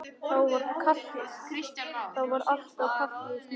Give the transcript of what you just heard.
Þá var allt á kafi í snjó.